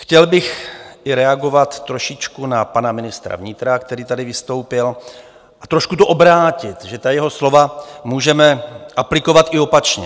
Chtěl bych i reagovat trošičku na pana ministra vnitra, který tady vystoupil, a trošku to obrátit, že ta jeho slova můžeme aplikovat i opačně.